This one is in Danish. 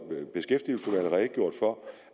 for